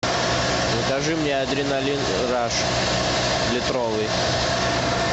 закажи мне адреналин раш литровый